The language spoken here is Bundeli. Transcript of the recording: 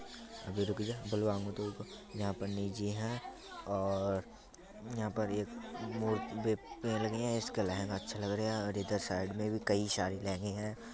यहां पर निजी हैं और यहां पर एक इसका लहंगा अच्छा लगरिया और इधर साइड में भी कई सारे लहंगे हैं।